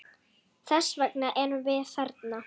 Þess vegna erum við þarna.